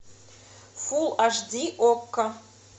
фул аш ди окко